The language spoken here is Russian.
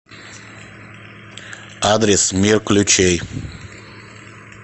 адрес мир ключей